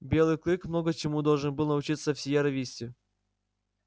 белый клык много чему должен был научиться в сиерра висте